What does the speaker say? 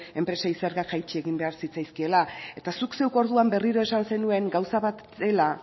enpresei zerga jaitsi egin behar zitzaizkiela eta zuk zeuk orduan berriro esan zenuen gauza bat dela